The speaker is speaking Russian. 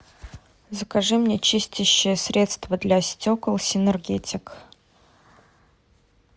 закажи мне чистящее средство для стекол синергетик